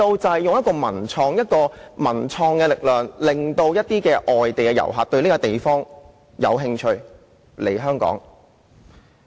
他們就以文創的力量，引發外地遊客對當地的興趣。